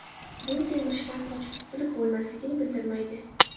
Bu semirishdan qochib qutilib bo‘lmasligini bildirmaydi.